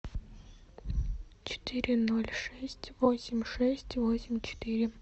четыре ноль шесть восемь шесть восемь четыре